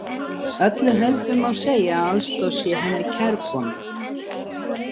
Öllu heldur má segja að aðstoð sé henni kærkomin.